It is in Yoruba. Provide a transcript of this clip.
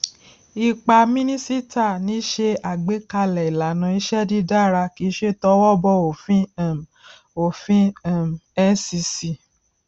ipa mínísíta ni ṣe agbékalè ìlànàiṣé dídara kíí ṣe towó bọ òfin um òfin um ncc